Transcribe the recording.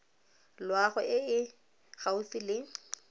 loago e e gaufi le